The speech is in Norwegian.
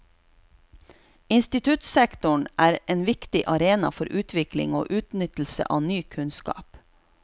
Instituttsektoren er en viktig arena for utvikling og utnyttelse av ny kunnskap.